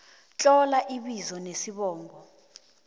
tlola ibizo nesibongo